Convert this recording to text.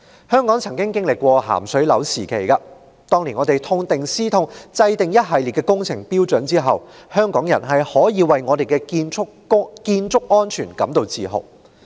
香港曾經歷"鹹水樓"時期，在政府當年痛定思痛，制訂一系列工程標準後，香港的建築安全足教香港人引以自豪。